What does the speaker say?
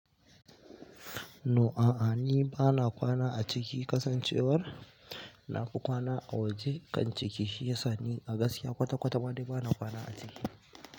No a'a ni bana kwana a ciki, kasancewar na fi kwana a waje kan ciki shiyasa ni a gaskiya kwata-kwata ma dai bana kwana a ciki.